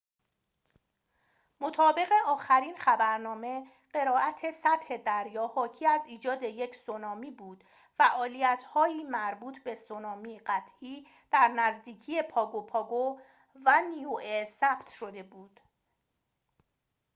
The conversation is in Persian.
مطابق آخرین خبرنامه قرائت سطح دریا حاکی از ایجاد یک سونامی بود فعالیت هایی مربوط به سونامی قطعی در نزدیکی پاگو پاگو و نیوئه ثبت شده بود